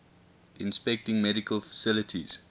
inspecting medical facilities